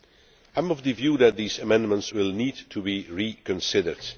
I am of the view that these amendments will need to be reconsidered.